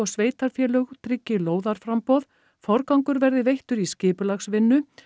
sveitarfélög tryggi lóðaframboð forgangur verði veittur í skipulagsvinnu